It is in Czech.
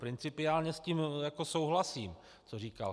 Principiálně s tím souhlasím, co říkal.